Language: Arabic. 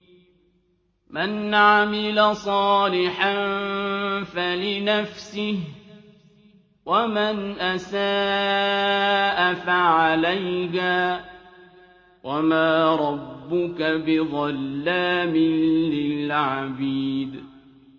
مَّنْ عَمِلَ صَالِحًا فَلِنَفْسِهِ ۖ وَمَنْ أَسَاءَ فَعَلَيْهَا ۗ وَمَا رَبُّكَ بِظَلَّامٍ لِّلْعَبِيدِ